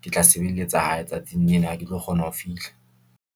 ke tla sebeletsa hae, tsatsing lena ha ke tlo kgona ho fihla.